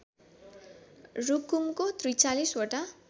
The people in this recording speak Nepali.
रुकुमको ४३ वटा